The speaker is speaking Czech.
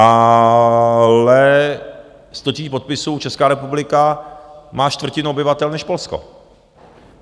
Ale 100 000 podpisů - Česká republika má čtvrtinu obyvatel než Polsko.